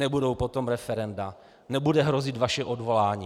Nebudou potom referenda, nebude hrozit vaše odvolání!